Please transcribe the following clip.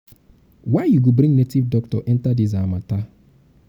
why you go bring native doctor enter dis our matter?